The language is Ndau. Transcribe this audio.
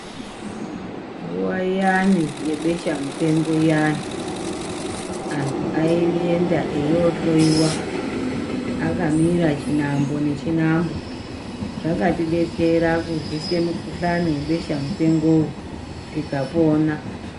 Nguwa iyani yebesha mupengo iyani antu aienda eyohloiwa akamira chinhambo nechinhambo zvakatidetsera kurwise mukuhlani webesha mupengowo tikapona.